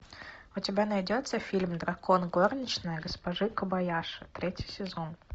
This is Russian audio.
у тебя найдется фильм дракон горничная госпожи кобаяши третий сезон